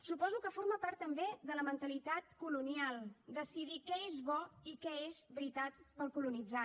suposo que forma part també de la mentalitat colonial decidir què és bo i què és veritat per al colonitzat